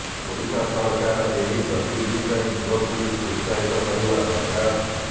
ଓଡିଶା ସରକାର ଏହି ଗତିବିଧି ପାଇଁ ଯୁବପିଢ଼ିକୁ ଉତ୍ସାହିତ କରିବା ଦରକାର